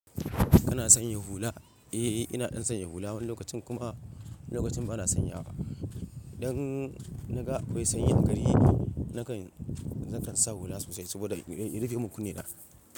Kana sanya hula? Eh, ina ɗan sanya hula wani lokacin kuma lokacin bana sanyawa. Idan na ga akwai sanyin gari, nakan, nakan sa hula sosai saboda in rufemun kunne na.